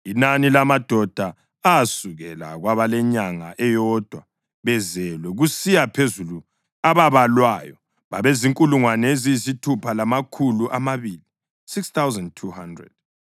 Inani lamadoda asukela kwabalenyanga eyodwa bezelwe kusiya phezulu ababalwayo babezinkulungwane eziyisithupha lamakhulu amabili (6,200).